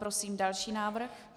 Prosím další návrh.